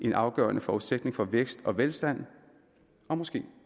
en afgørende forudsætning for vækst og velstand og måske